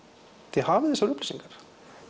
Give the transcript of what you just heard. þið hafið þessar upplýsingar